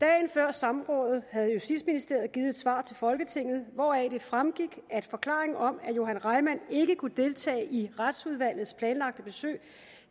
samrådet havde justitsministeriet givet et svar til folketinget hvoraf det fremgik at forklaringen om at johan reimann ikke kunne deltage i retsudvalgets planlagte besøg